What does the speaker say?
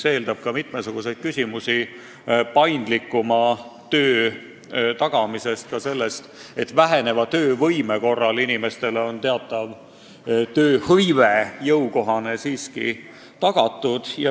See eeldab töö paindlikumat korraldamist, et ka väheneva töövõime korral oleks inimestele jõukohane töö siiski tagatud.